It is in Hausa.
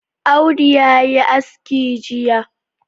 Audu ya yi aski Jiya.